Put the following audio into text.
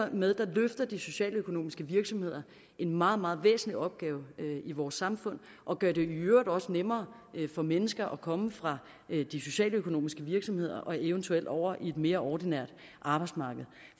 dermed løfter de socialøkonomiske virksomheder en meget meget væsentlig opgave i vores samfund og gør det i øvrigt også nemmere for mennesker at komme fra de socialøkonomiske virksomheder og eventuelt over i et mere ordinært arbejdsmarked